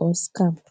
or scam